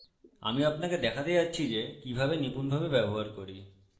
আমি আপনাকে দেখাতে যাচ্ছি যে কিভাবে নিপূণভাবে ব্যবহার করি